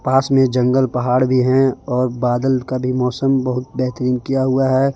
पास में जंगल पहाड़ भी हैं और बादल का भी मौसम बहुत बेहतरीन किया हुआ है।